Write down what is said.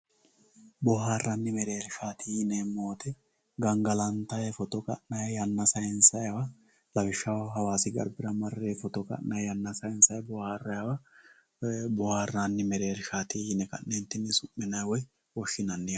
Booharanni mereerishati yinemo woyite gangalantayi foto ka'nayi, yana sayinsayiwa lawisaho hawassi garibira mare foto ka'nayi yana sayinsayi booharaniwwa boharanni mereerishati yine ka'nentinni su'minanni woyi woshinanni yaate